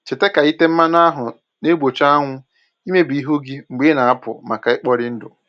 Cheta ka ite mmanụ ahụ na-egbochi anwụ imebi ihu gị mgbe ị na-apụ maka ikpori ndụ